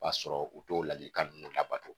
O b'a sɔrɔ u t'o ladilikan ninnu labato